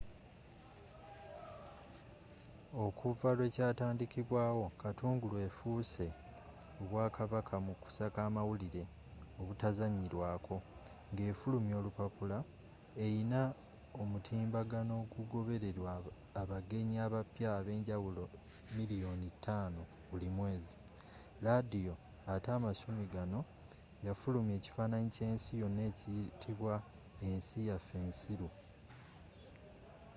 okuva lwe kyatandikibwawo katungulu efuuse obwakabaka mu kusaka amawulire obutazzanyirwako nga efulumya olupapula erina omutimbagano ogugobererwa abagenyi abapya abenjawulo 5,000,000 buli mwezi laadiyo atte amasumi ganno yafulumya ekifaananyi ky’ensi yonna ekiyitibwa ensi yaffe ensiru